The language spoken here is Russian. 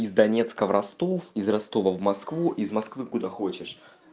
из донецка в ростов из ростова в москву из москвы куда хочешь